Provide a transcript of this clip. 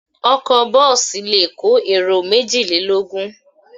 Ọkọ̀ bọ́ọ́sì le kó èrò méjìlélógún.